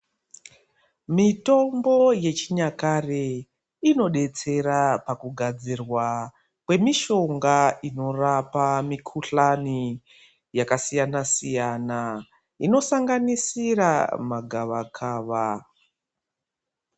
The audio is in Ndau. Mitombo yechinyakare inodetsera pakugadzira kwemishonga inorapa mikhuhlani yakasiyana-siyana, inosanganisira magavakava.